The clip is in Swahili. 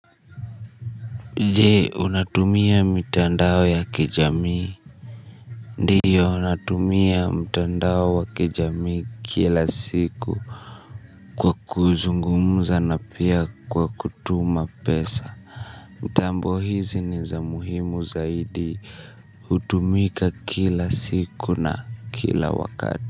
Jee, unatumia mitandao ya kijamii. Ndiyo, natumia mtandao wa kijamii kila siku. Kwa kuzungumuza na pia kwa kutuma pesa mtambo hizi ni za muhimu zaidi, hutumika kila siku na kila wakati.